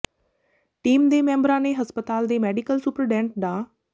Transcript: team ਦੇ ਮੈਂਬਰਾਂ ਨੇ ਹਸਪਤਾਲ਼ ਦੇ ਮੈਡੀਕਲ ਸੁਪਰਡੈਂਟ ਡਾ